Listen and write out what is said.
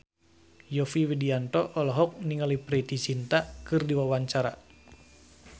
Yovie Widianto olohok ningali Preity Zinta keur diwawancara